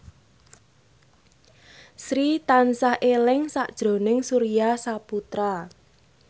Sri tansah eling sakjroning Surya Saputra